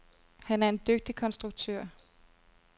Han er en dygtig konstruktør.